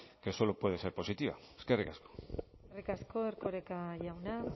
que solo puede ser positiva eskerrik asko eskerrik asko erkoreka jauna